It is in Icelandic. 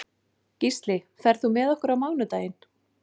Gísli, ferð þú með okkur á mánudaginn?